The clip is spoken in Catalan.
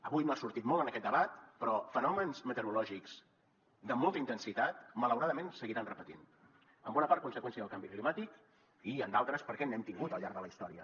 avui no ha sortit molt en aquest debat però fenòmens meteorològics de molta intensitat malauradament se seguiran repetint en bona part conseqüència del canvi climàtic i en d’altres perquè n’hem tingut al llarg de la història